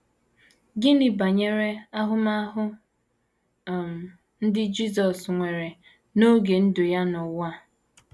Gịnị banyere ahụmahụ um ndị Jisọs nwere n’oge ndụ ya n’ụwa?